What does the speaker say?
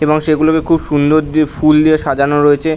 এবং সেগুলোকে খুব সুন্দর দিয়ে ফুল দিয়ে সাজানো রয়েছে ।